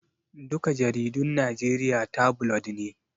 Duka jaridun Najeriya tabulod ne